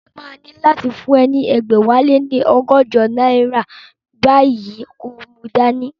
Mo máa ní láti fún ọ ní ẹgbẹ̀wáléní ọgọ́jọ náírà báyìí kí o mu dání